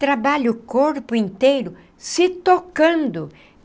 Trabalha o corpo inteiro se tocando.